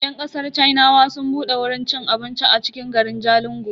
Yan kasar sinawa sun bude wurin ci abincin a cikin garin Jalingo.